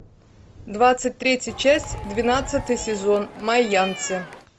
двадцать третья часть двенадцатый сезон майянцы